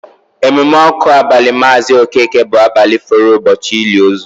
Emume ọkụ abali Maazi Okeke bụ abalị fọrọ ụbọchị ili ozu